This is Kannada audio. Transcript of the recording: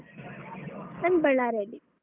ನಾನ್ Bellary ಅಲ್ಲಿ.